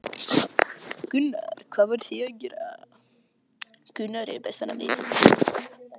Gunnar: Hvað voruð þið að gera?